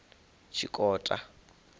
tshikota